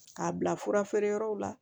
K'a bila fura feere yɔrɔw la